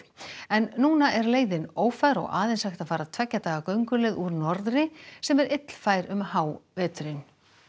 en núna er leiðin ófær og aðeins hægt að fara tveggja daga gönguleið úr norðri sem er illfær um háveturinn